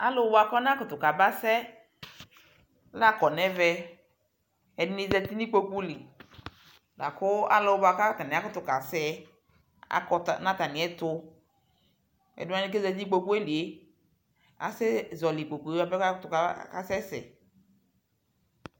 Alʋ bua kʋ anamʋtʋ kabanasɛ la kɔ nʋ ɛvɛ Ɛdι nι zati nʋ ikpoku lι la kʋ alʋ bua kʋ akutu kasɛ yɛ akɔ ta nʋ atamɔi ɛtʋ Ɛdιwani kʋ ezati nʋ ikpokue lie asɛ zɔli ikpokue yaɣa kʋ asɛsɛ